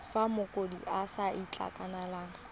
fa mokopi a sa itekanela